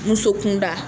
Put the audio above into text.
Muso kunda